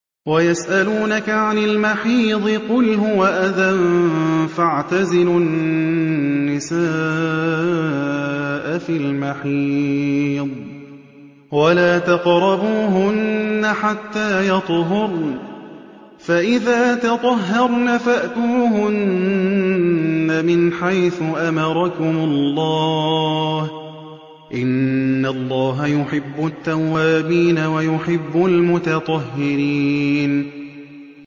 وَيَسْأَلُونَكَ عَنِ الْمَحِيضِ ۖ قُلْ هُوَ أَذًى فَاعْتَزِلُوا النِّسَاءَ فِي الْمَحِيضِ ۖ وَلَا تَقْرَبُوهُنَّ حَتَّىٰ يَطْهُرْنَ ۖ فَإِذَا تَطَهَّرْنَ فَأْتُوهُنَّ مِنْ حَيْثُ أَمَرَكُمُ اللَّهُ ۚ إِنَّ اللَّهَ يُحِبُّ التَّوَّابِينَ وَيُحِبُّ الْمُتَطَهِّرِينَ